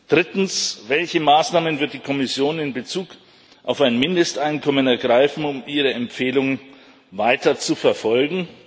Drittens Welche Maßnahmen wird die Kommission in Bezug auf ein Mindesteinkommen ergreifen, um ihre Empfehlungen weiterzuverfolgen?